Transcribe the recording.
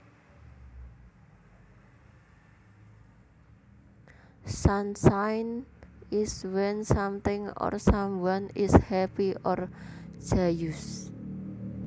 Sunshine is when something or someone is happy or joyous